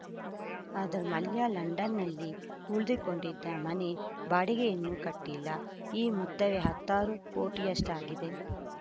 ಅದು ಮಲ್ಯ ಲಂಡನ್‌ನಲ್ಲಿ ಉಳಿದುಕೊಂಡಿದ್ದ ಮನೆ ಬಾಡಿಗೆಯನ್ನು ಕಟ್ಟಿಲ್ಲ ಈ ಮೊತ್ತವೇ ಹತ್ತಾರು ಕೋಟಿಯಷ್ಟಾಗಿದೆ